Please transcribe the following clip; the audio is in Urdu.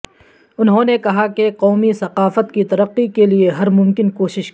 انہوں نے کہا کہ قومی ثقافت کی ترقی کے لئے ہر ممکن کوشش کی